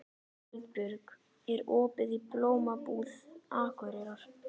Eldbjörg, er opið í Blómabúð Akureyrar?